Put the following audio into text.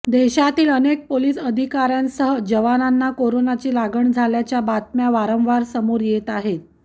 देशातील अनेक पोलीस अधिकाऱ्यांसह जवानांना कोरोनाची लागण झाल्याच्या बातम्या वारंवार समोर येत आहेत